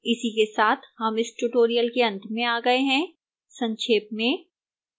इसी के साथ हम इस tutorial के अंत में आ गए हैं संक्षेप में